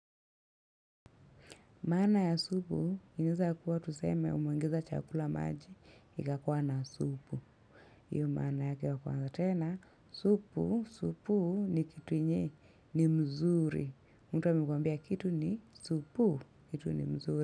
Maana ya supu, inaweza kuwa tuseme umeongeza chakula maji, ikakuwa na supu. Hiyo maana yake ya kwanza tena, supu, supuu ni kitu yenye, ni mzuri. Mtu amekwambia kitu ni supuu, kitu ni mzuri.